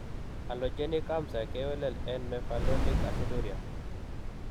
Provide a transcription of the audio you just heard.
Allogeneic amsa kewelel en mevalonic aciduria.